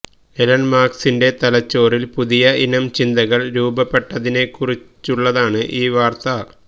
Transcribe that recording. Elon മസ്കിന്റെ തലച്ചോറില് പുതിയ ഇനം ചിന്തകള് രൂപ്പെട്ടതിനെക്കുറിച്ചുള്ളതാണ് ഈ വാര്ത്ത